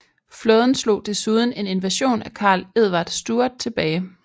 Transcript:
Flåden slog desuden en invasion af Karl Edvard Stuart tilbage